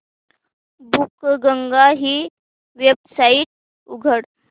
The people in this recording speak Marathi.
बुकगंगा ही वेबसाइट उघड